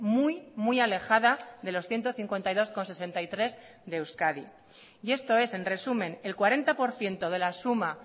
muy muy alejada de los ciento cincuenta y dos coma sesenta y tres de euskadi y esto es en resumen el cuarenta por ciento de la suma